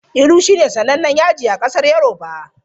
Iru shine sanannen yaji a ƙasar yoruba.